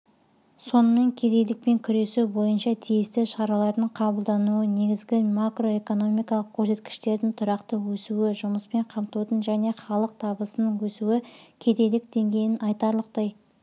сонымен кедейлікпен күресу бойынша тиісті шаралардың қабылдануы негізгі макроэкономикалық көрсеткіштердің тұрақты өсуі жұмыспен қамтудың және халықтабысының өсуікедейлік деңгейінің айтарлықтай